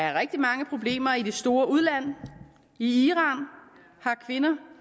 er rigtig mange problemer i det store udland i iran har kvinder